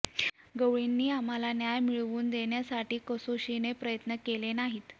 गवळींनी आम्हाला न्याय मिळवून देण्यासाठी कसोशीने प्रयत्न केले नाहीत